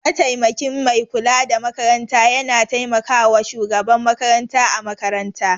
Mataimakin Mai kula da makaranta yana taimakawa Shugaban makaranta a makaranta.